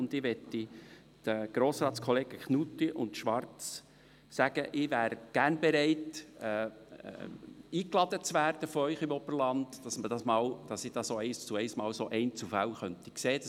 Ich bin gerne bereit, Grossratskollegen Knutti und Schwarz, von Ihnen ins Oberland eingeladen zu werden, damit ich solche Einzelfälle mal eins zu eins anschauen kann.